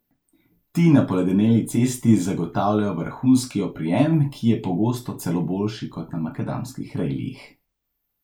Ti na poledeneli cesti zagotavljajo vrhunski oprijem, ki je pogosto celo boljši kot na makadamskih relijih.